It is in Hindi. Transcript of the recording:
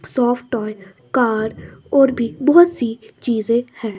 सॉफ्ट टॉय कार और भी बहोत सी चीजे हैं।